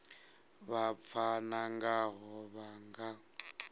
vha pfana ngaho vha nga